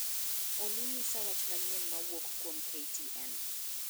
olly nyisa wach manyien ma wuok kuom k. t. n.